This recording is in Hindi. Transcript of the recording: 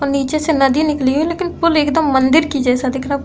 और नीचे से नदी निकली है लेकिन पुल एकदम मंदिर के जैसा दिख रहा --